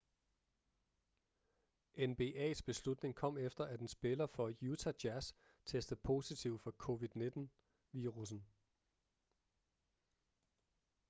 nbas beslutning kom efter at en spiller for utah jazz testede positiv for covid-19 virussen